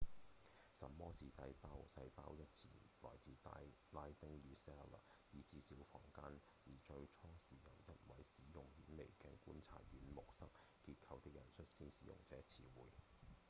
什麼是細胞？細胞一詞來自拉丁語「cella」意指「小房間」而最初是由一位使用顯微鏡觀察軟木塞結構的人率先使用這個詞彙